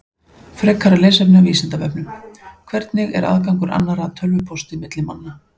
Frekara lesefni af Vísindavefnum: Hvernig er aðgangur annarra að tölvupósti milli manna?